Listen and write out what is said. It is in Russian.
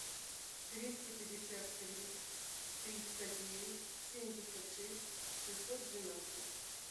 двести пятьдесят три триста девять семьдесят шесть шестьсот двенадцать